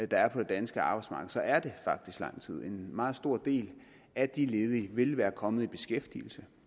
der er på det danske arbejdsmarked er det faktisk lang tid en meget stor del af de ledige ville være kommet i beskæftigelse